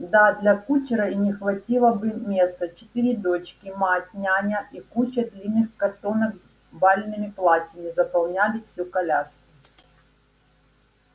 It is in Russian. да для кучера и не хватило бы места четыре дочки мать няня и куча длинных картонок с бальными платьями заполняли всю коляску